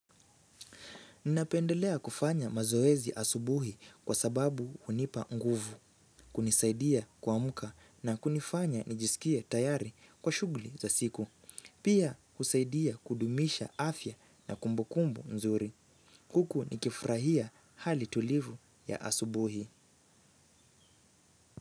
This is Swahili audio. Ninapendelea kufanya mazoezi asubuhi kwa sababu hunipa nguvu. Kunisaidia kuamka na kunifanya nijisikie tayari kwa shughli za siku. Pia husaidia kudumisha afya na kumbukumbu nzuri. Huku nikifurahia hali tulivu ya asubuhi.